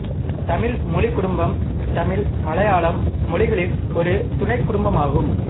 தமிழ் மொழிக் குடும்பம் தமிழ் மலையாளம் மொழிகளின் ஒரு துணைக் குடும்பமாகும்